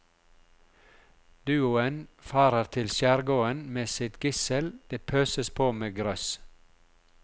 Duoen farer til skjærgården med sitt gissel, det pøses på med grøss.